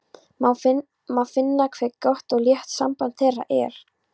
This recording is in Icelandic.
Má finna hve gott og létt samband þeirra er.